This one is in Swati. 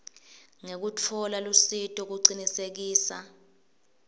ngekutfola lusito kucinisekisa